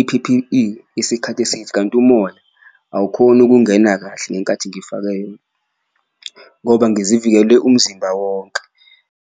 i-P_P_E isikhathi eside. Kanti umoya awukhoni ukungena kahle ngenkathi ngifake yona, ngoba ngizivikele umzimba wonke.